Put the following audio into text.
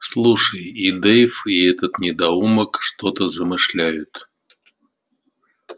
слушай и дейв и этот недоумок что-то замышляют